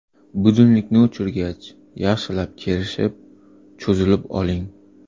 Budilnikni o‘chirgach, yaxshilab kerishib, cho‘zilib oling.